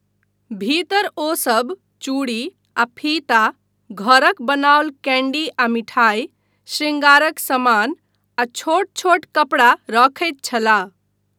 भीतर, ओसब चूड़ी आ फीता, घरक बनाओल कैन्डी आ मिठाइ, शृङ्गारक समान, आ छोट छोट कपड़ा रखैत छलाह।